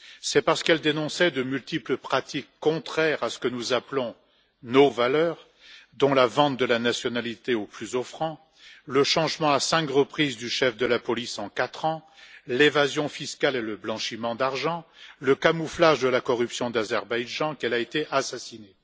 C'est parce qu'elle dénonçait de multiples pratiques contraires à ce que nous appelons nos valeurs, dont la vente de la nationalité au plus offrant, le changement à cinq reprises du chef de la police en quatre ans, l'évasion fiscale et le blanchiment d'argent, et le camouflage de la corruption d'Azerbaïdjan qu'elle a été assassinée.